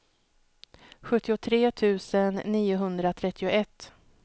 sjuttiotre tusen niohundratrettioett